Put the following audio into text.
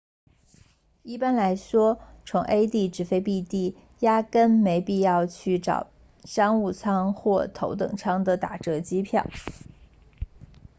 一般来说从 a 地直飞 b 地压根没必要去找商务舱或头等舱的打折机票